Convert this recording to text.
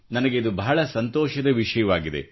ನನಗೆ ಇದು ಬಹಳ ಸಂತೋಷದ ವಿಷಯವಾಗಿದೆ